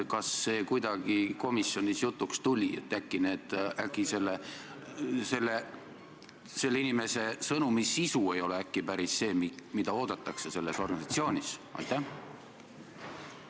Kas see kuidagi komisjonis jutuks tuli, et äkki selle inimese sõnumi sisu ei ole päris see, mida selles organisatsioonis oodatakse?